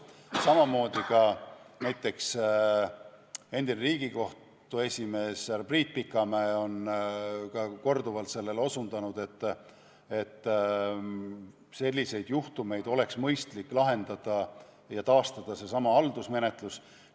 Samamoodi ka näiteks endine Riigikohtu esimees härra Priit Pikamäe on korduvalt sellele osutanud, et selliseid juhtumeid oleks mõistlik lahendada nii, et taastada seesama haldusmenetlus.